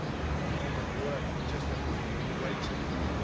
The people that work, that just have a wage income.